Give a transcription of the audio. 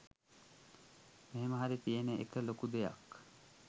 මෙහෙම හරි තියෙන එක ලොකු දෙයක්